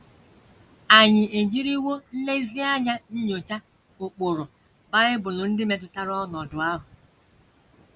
Ànyị ejiriwo nlezianya nyochaa ụkpụrụ Bible ndị metụtara ọnọdụ ahụ?